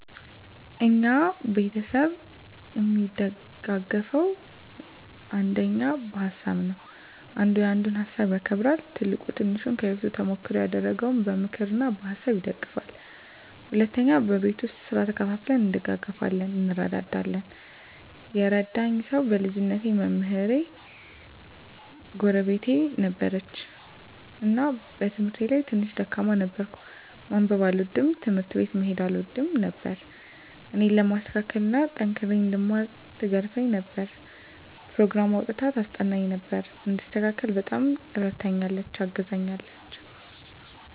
እኛ ቤተሰብ እሚደጋገፈዉ አንደኛ በሀሳብ ነዉ። አንዱ ያንዱን ሀሳብ ያከብራል፣ ትልቁ ትንሹን ከህይወቱ ተሞክሮ እያደረገ በምክር እና በሀሳብ ይደግፉናል። ሁለተኛ በቤት ዉስጥ ስራ ተከፋፍለን እንደጋገፋለን (እንረዳዳለን) ። የረዳኝ ሰዉ በልጅነቴ መምህር ጎረቤት ነበረችን እና በትምህርቴ ላይ ትንሽ ደካማ ነበርኩ፤ ማንበብ አልወድም፣ ትምህርት ቤት መሄድ አልወድም ነበር እኔን ለማስተካከል እና ጠንክሬ እንድማር ትገርፈኝ ነበር፣ ኘሮግራም አዉጥታ ታስጠናኝ ነበር፣ እንድስተካከል በጣም እረድታኛለች(አግዛኛለች) ።